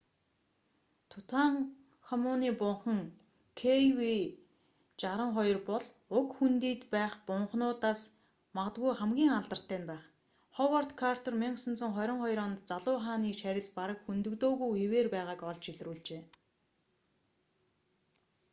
тутанхамуны бунхан kv62. kv62 бол уг хөндийд байх бунхануудаас магадгүй хамгийн алдартай нь байх ховард картер 1922 онд залуу хааны шарил бараг хөндөгдөөгүй хэвээр байгааг олж илрүүлжээ